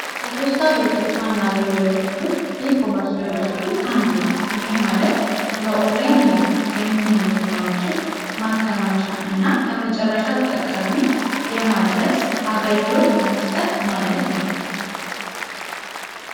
ከፖስት ቤቶች ዋና አገልግሎቶች ውስጥ አንዱ ኢኮመርስ ሎጂስቲክስ አንዱ ነው ይህም ማለት ለኦላይን ንግድ የሚሆኑ እቃዎችን ማከማቻ እና ለመጨረሻ ተጠቃሚ አገልግሎት መስጠት ማለት ነው።